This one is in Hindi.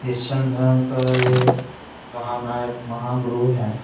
क्रिस्चियन धर्म का ये महानायक महागुरू हैं ।